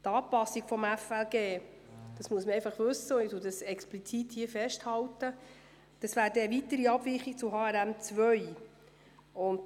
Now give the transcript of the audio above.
Die Anpassung des FLG – das möchte ich explizit festhalten – würde eine weitere Abweichung von HRM2 bedeuten.